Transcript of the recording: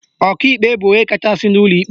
Ọkaikpe bụ onye kachasị n'ụlọ ikpe